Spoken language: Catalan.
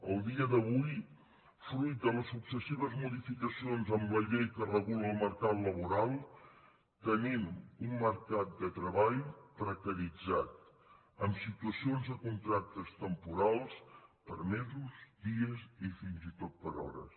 el dia d’avui fruit de la successives modificacions en la llei que regula el mercat laboral tenim un mercat de treball precaritzat amb situacions de contractes temporals per mesos dies i fins i tot per hores